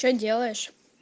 что делаешь